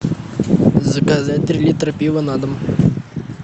заказать три литра пива на дом